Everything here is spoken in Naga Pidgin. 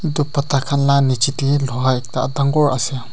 itu pata khan la niche teh loha ekta dangor ase.